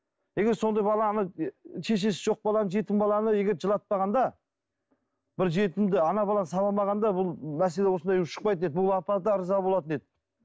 егер сондай бала ана шешесі жоқ баланы жетім баланы егер жылатпағанда бір жетімді ана баланы сабамағанда бұл мәселе осындай ушықпайтын еді бұл апа да ырза болатын еді